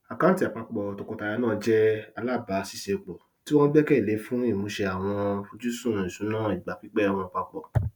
àkántì àpapọ tọkọtaya náà jẹ alábàáṣiṣẹpọ tí wọn gbẹkẹlé fún ìmúṣè àwọn fojúsùn ìsúná ìgbà pípẹ wọn papọ